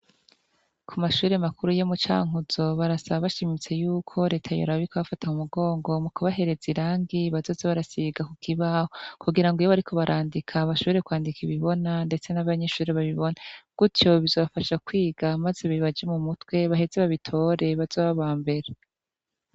Ku mashure makuru yo mucankuzo barasaba bashimitse yuko reta yoraba ikabafata mu mugongo mukubahereza iragi bazoze basiga kukibaho kugira ngo iyo bariko barandika bashobore kwandika ibibona canke abanyeshure babibone gutyo bizobafasha kwiga maze bibaje mumutwe baheze babitore bazobe aba mbere.